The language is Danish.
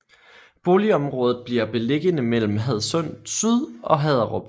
Boligområdet bliver beliggende mellem Hadsund Syd og Haderup